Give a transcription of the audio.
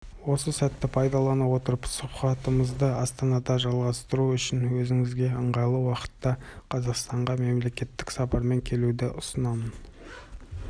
осы сәтті пайдалана отырып сұхбатымызды астанада жалғастыру үшін өзіңізге ыңғайлы уақытта қазақстанға мемлекеттік сапармен келуді ұсынамын